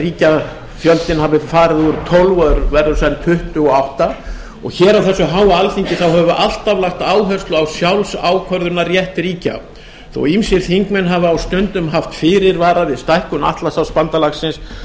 hafi farið úr tólf og verða þær tuttugu og átta og hér á þessu háa alþingi höfum við alltaf lagt áherslu á sjálfsákvörðunarrétt ríkja þó ýmsir þingmenn hafi á stundum haft fyrirvara við stækkun atlantshafsbandalagsins út